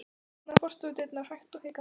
Hann opnaði forstofudyrnar hægt og hikandi.